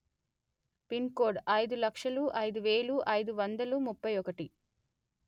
pin code అయిదు లక్షలు అయిదు వెలు అయిదు వందలు ముప్పై ఒకటి